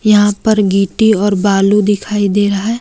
यहां पर गिट्टी और बालू दिखाई दे रहा है।